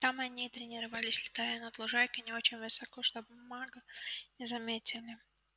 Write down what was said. там они и тренировались летая над лужайкой не очень высоко чтобы маглы не заметили